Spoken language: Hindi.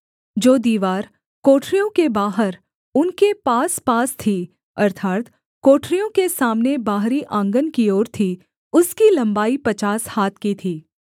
जो दीवार कोठरियों के बाहर उनके पासपास थी अर्थात् कोठरियों के सामने बाहरी आँगन की ओर थी उसकी लम्बाई पचास हाथ की थी